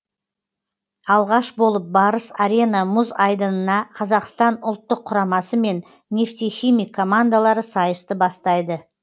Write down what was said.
алғаш болып барыс арена мүз айдынына қазақстан ұлттық құрамасы мен нефтехимик командалары сайысты бастайды